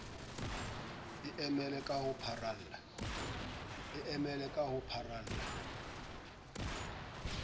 e emele ka ho pharalla